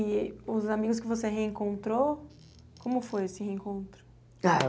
e os amigos que você reencontrou como foi esse reencontro? Ah